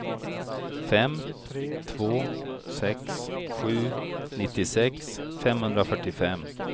fem två sex sju nittiosex femhundrafyrtiofem